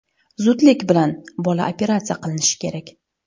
Zudlik bilan bola operatsiya qilinishi kerak.